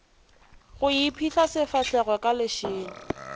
go iphihla sefahlego ka lešela